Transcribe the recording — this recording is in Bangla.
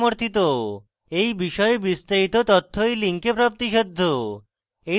এই বিষয়ে বিস্তারিত তথ্য এই link প্রাপ্তিসাধ্য